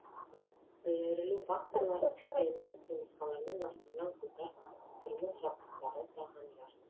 берілу факторлары цепеннің жұмыртқаларымен ластанған қолдар тұрмыс жабдықтары тағамдар